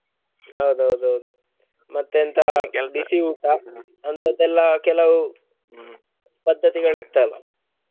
ಹೌದೌದು ಮತ್ತೆ ಎಂತಾ ಬಿಸಿಯೂಟ ಅಂತದೆಲ್ಲ ಕೆಲವು ಪದ್ದತಿಗಳಿತ್ತಲ್ಲ .